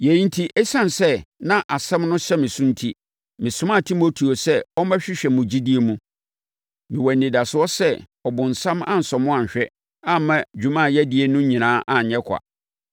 Yei enti, ɛsiane sɛ na asɛm no hyɛ me so enti, mesomaa Timoteo sɛ ɔmmɛhwehwɛ mo gyidie mu. Mewɔ anidasoɔ sɛ ɔbonsam ansɔ mo anhwɛ amma dwuma yɛadi no nyinaa anyɛ kwa.